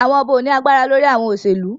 Awọn ọba o ni agbara lori awọn oselu